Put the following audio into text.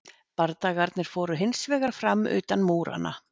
bardagarnir fóru hins vegar fram utan múranna